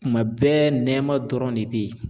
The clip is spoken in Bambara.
Tuma bɛɛ nɛma dɔrɔn de be yen